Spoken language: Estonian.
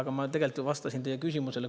Aga ma tegelikult ju vastasin teie küsimusele.